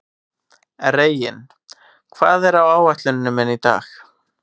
Reginn, hvað er á áætluninni minni í dag?